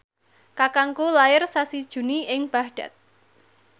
kakangku lair sasi Juni ing Baghdad